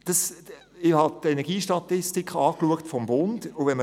Ich habe die Energiestatistiken des Bundes geprüft.